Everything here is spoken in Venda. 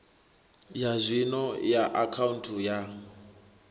ya zwino ya akhaunthu ya